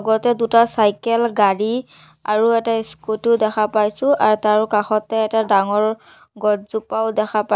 দুটা চাইকেল গাড়ী আৰু এটা স্কুটী ও দেখা পাইছোঁ আৰু তাৰ কাষতে এটা ডাঙৰ গছজোপাও দেখা পাই--